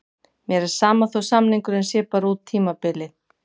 Mér er sama þó samningurinn sé bara út tímabilið.